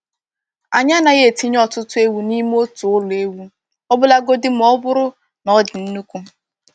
Anyị anaghị etinye ọtụtụ ewu n’ime otu ụlọ ewu, ọbụlagodi ma ọ bụrụ na ọ dị nnukwu.